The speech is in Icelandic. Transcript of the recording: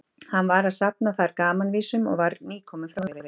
Hann var að safna þar gamanvísum og var nýkominn frá Noregi.